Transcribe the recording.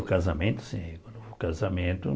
O casamento, sim. O casamento